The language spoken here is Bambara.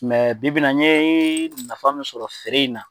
Mɛ bi bi in na n ye nafa min sɔrɔ feere in na,